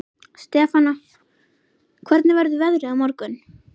Stefana, hvernig verður veðrið á morgun?